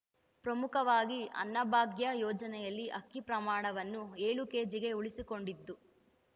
ಪ್ರಮುಖವಾಗಿ ಅನ್ನಭಾಗ್ಯ ಯೋಜನೆಯಲ್ಲಿ ಅಕ್ಕಿ ಪ್ರಮಾಣವನ್ನು ಏಳು ಕೆಜಿಗೆ ಉಳಿಸಿಕೊಂಡಿದ್ದು